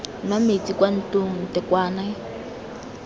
nwa metsi kwa ntlong ntekwane